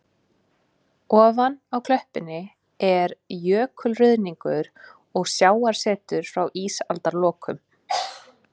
Ofan á klöppunum er jökulruðningur og sjávarset frá ísaldarlokum.